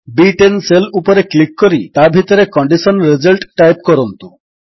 ବି10 cell ଉପରେ click କରି ତା ଭିତରେ କଣ୍ଡିସନ୍ ରିଜଲ୍ଟ ଟାଇପ୍ କରନ୍ତୁ